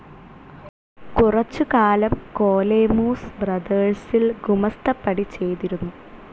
കുറച്ചുകാലം കോലേമൂസ് ബ്രദേഴ്സിൽ ഗുമസ്തപ്പണി ചെയ്തിരുന്നു.